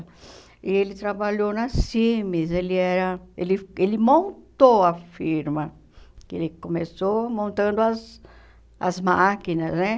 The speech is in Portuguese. E ele trabalhou na Cimes, ele era... ele ele montou a firma, que ele começou montando as as máquinas, né?